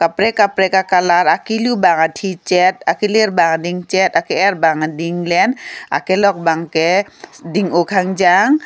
kaprek kaprek a colour akilu bangke thi chet akilir bangke ding chet ake er bang ke ding len akilok bang ke ding oh khangjam.